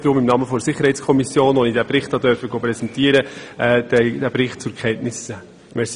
Ich empfehle Ihnen deshalb auch im Namen der SiK, der ich den Bericht präsentieren durfte, Kenntnisnahme desselben.